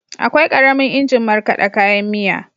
Akwai ƙaramin injin markaɗa kayan miya.